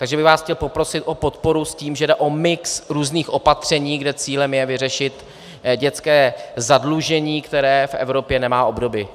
Takže bych vás chtěl poprosit o podporu s tím, že jde o mix různých opatření, kde cílem je vyřešit dětské zadlužení, které v Evropě nemá obdoby.